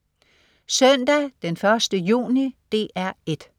Søndag den 1. juni - DR 1: